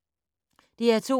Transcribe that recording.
DR2